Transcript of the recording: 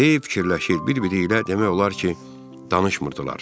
Hey fikirləşir, bir-biri ilə demək olar ki, danışmırdılar.